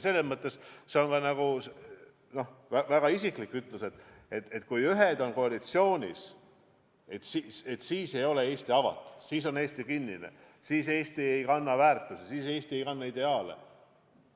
Mõnes mõttes see on väga isiklik ütlus, kui väita, et kui ühed on koalitsioonis, siis ei ole Eesti avatud, siis on Eesti kinnine, siis Eesti ei kanna õigeid väärtusi, siis Eesti ei kanna ideaale,